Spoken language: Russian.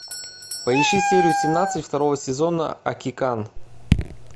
поищи серию семнадцать второго сезона акикан